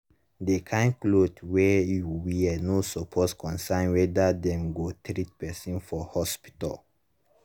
the kain cloth wey you wear no suppose concern whether dem go treat person for hospital